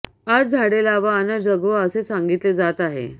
आज झाडे लावा अन् जगवा असे सांगितले जात आहे